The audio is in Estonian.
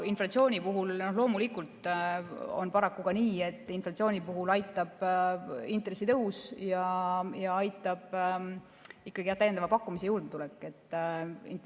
Inflatsiooni puhul loomulikult on paraku ka nii, et aitab intressitõus ja aitab täiendava pakkumise juurdetulek.